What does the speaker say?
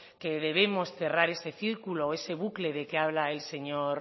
que debemos cerrar ese círculo ese bucle del que habla el señor